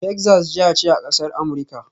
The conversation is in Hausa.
Texas jiha ce a ƙasar Amurika